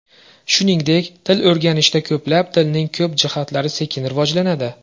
Shuningdek, til o‘rganishda ko‘plab tilning ko‘p jihatlari sekin rivojlanadi.